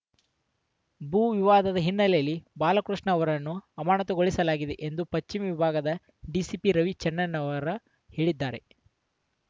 ಭೂ ವಿವಾದದ ಹಿನ್ನೆಲೆಯಲ್ಲಿ ಬಾಲಕೃಷ್ಣ ಅವರನ್ನು ಅಮಾನತುಗೊಳಿಸಲಾಗಿದೆ ಎಂದು ಪಚ್ಚಿಮ ವಿಭಾಗದ ಡಿಸಿಪಿ ರವಿಡಿಚೆನ್ನಣ್ಣನವರ್‌ ಹೇಳಿದ್ದಾರೆ